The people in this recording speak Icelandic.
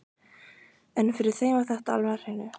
En fyrir þeim var þetta alveg á hreinu.